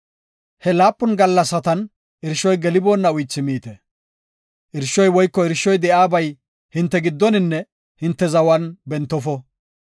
He laapun gallasatan irshoy geliboonna uythi miite. Irshoy woyko irshoy de7iyabay hinte giddoninne hinte zawan bentofo.